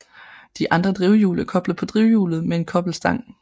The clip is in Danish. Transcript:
De andre drivhjul er koblet på drivhjulet med en kobbelstang